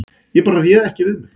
Ég bara réð ekki við mig